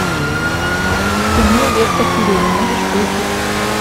кино ветка сирени можешь включить